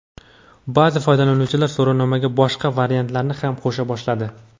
Ba’zi foydalanuvchilar so‘rovnomaga boshqa variantlarni ham qo‘sha boshladi.